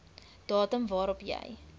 datum waarop jy